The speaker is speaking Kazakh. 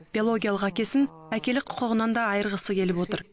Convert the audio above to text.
биологиялық әкесін әкелік құқығынан да айырғысы келіп отыр